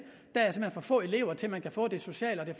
der er for få elever til at man kan få det sociale og